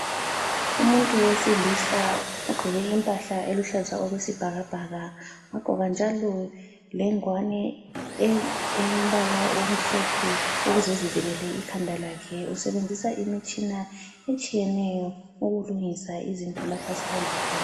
Umuntu wesilisa ogqoke impahla eluhlaza okwesibhakabhaka wagqoka njalo lengwane elombala omhlophe ukuze ezivikele ikhanda lakhe usenzisa imitshina etshiyeneyo ukulungisa izinto lapho asebenza khona.